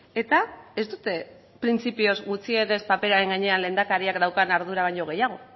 eta ez dute printzipioz gutxienez paperaren gainean lehendakariak daukan ardura baino gehiago